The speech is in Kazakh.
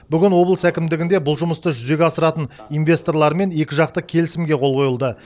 бүгін облыс әкімдігінде бұл жұмысты жүзеге асыратын инвесторлармен екіжақты келісімге қол қойылды